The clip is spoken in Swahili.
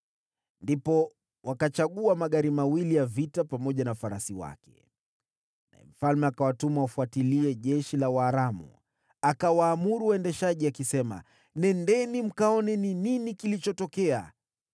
Ndipo wakachagua magari mawili ya vita pamoja na farasi wake, naye mfalme akawatuma wafuatilie jeshi la Waaramu. Akawaamuru waendeshaji akisema, “Nendeni mkaone ni nini kilichotokea.”